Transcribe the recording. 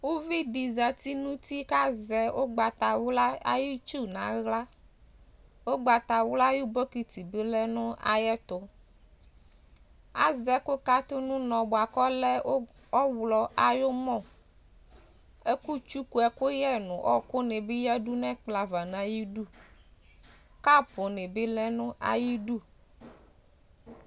Uluvi dɩ zati nʋ utikpǝ nʋ ivudini Azɛ ɛkʋsuwu uti nʋ aɣla Atʋ ɛkʋkatʋ nʋ ʋnɔ nʋ ʋtʋ Amɔ lɛ I bokiti lɛ nʋ ayɛtʋ